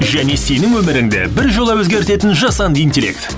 және сенің өміріңді біржола өзгертетін жасанды интеллект